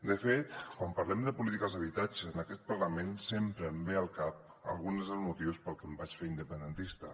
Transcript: de fet quan parlem de polítiques d’habitatge en aquest parlament sempre em ve al cap alguns dels motius pels que em vaig fer independentista